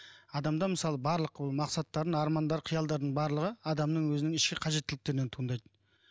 адамда мысалы барлық мақсаттарын армандары қиялдардың барлығы адамның өзінің ішкі қажеттіліктерінен туындайды